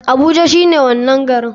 Abuja shine wanan garin.